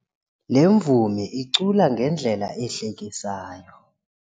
Le mvumi icula ngendlela ehlekisayo.